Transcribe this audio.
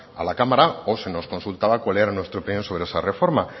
a la cámara o se nos consultaba cuál era nuestra opinión sobre esa reforma